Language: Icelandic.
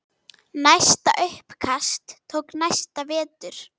Næsta uppkast tók næsta vetur.